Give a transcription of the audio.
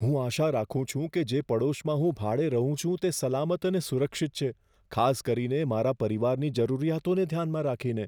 હું આશા રાખું છું કે જે પડોશમાં હું ભાડે રહું છું તે સલામત અને સુરક્ષિત છે, ખાસ કરીને મારા પરિવારની જરૂરિયાતોને ધ્યાનમાં રાખીને.